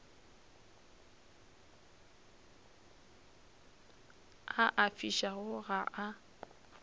a a fišago ga a